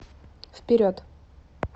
вперед